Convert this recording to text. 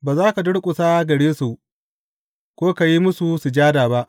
Ba za ka durƙusa gare su, ko ka yi musu sujada ba.